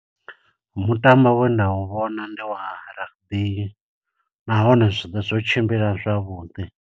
Mutambo we nda u vhona ndi rugby, nahone zwoṱhe zwo tshimbila zwavhuḓi.